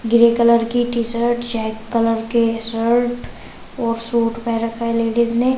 Grey colour की T-shirt check colour के shirt और सूट पहन रखा है लेडिज ने।